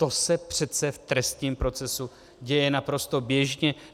To se přece v trestním procesu děje naprosto běžně.